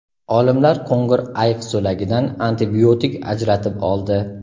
Olimlar qo‘ng‘ir ayiq so‘lagidan antibiotik ajratib oldi.